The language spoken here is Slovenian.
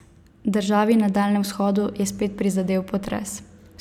Državi na daljnem vzhodu je spet prizadel potres.